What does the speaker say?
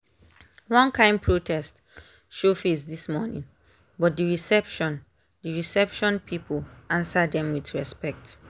one kain protest show face this morning but the reception the reception people answer them with respect.